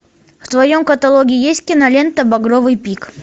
в твоем каталоге есть кинолента багровый пик